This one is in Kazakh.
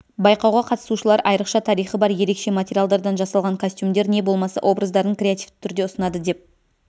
байқауға қатысушылар айрықша тарихы бар ерекше материалдардан жасалған костюмдер не болмаса образдарын креативті түрде ұсынады деп